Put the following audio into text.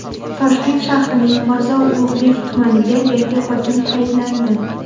Toshkent shahrining Mirzo Ulug‘bek tumaniga yangi hokim tayinlandi.